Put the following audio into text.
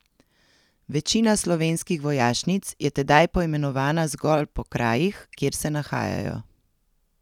Večina slovenskih vojašnic je tedaj poimenovana zgolj po krajih, kjer se nahajajo.